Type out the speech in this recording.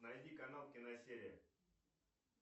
найди канал киносерия